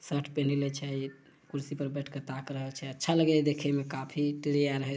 Shirt पिहिनले छै कुर्सी पर बैठ के ताक रहल छै अच्छा लगे देखे में काफी है ।